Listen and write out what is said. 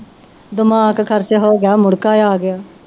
ਦਿਮਾਗ ਖ਼ਰਚ ਹੋਏਗਾ ਮੁੜਕੇ ਆ ਗਿਆ